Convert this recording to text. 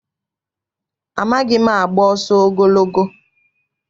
Amaghị m agba ọsọ ogologo.